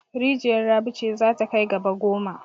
Rijiyar Rabi ce za ta kai gaba goma.